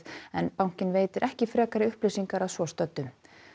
en bankinn veitir ekki frekari upplýsingar að svo stöddu